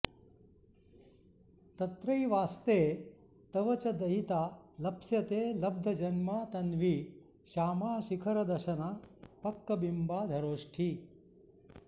तत्रैवाऽऽस्ते तव च दयिता लप्स्यते लब्धजन्मा तन्वी श्यामा शिखरदशना पक्कबिम्बाधरोष्ठी